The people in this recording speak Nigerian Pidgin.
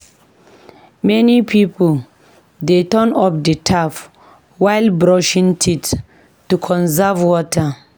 Many pipo dey turn off the tap while brushing teeth to conserve water.